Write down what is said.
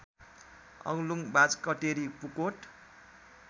Aglung Bajhkateri Pukot